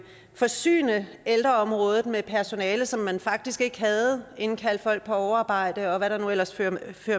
forsyne ældreområdet med personale som man faktisk ikke havde indkalde folk på overarbejde og hvad det nu ellers førte